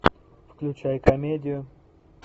включай комедию